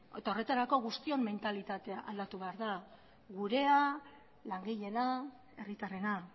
horretarako guztion mentalitatea aldatu behar da gurea langileena herritarrena